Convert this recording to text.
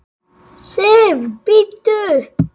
SIF, BÍDDU!